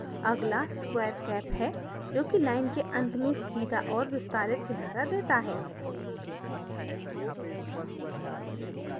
अगला square cap है जो कि line के अंत में सीधा और विस्तारित किनारा देता है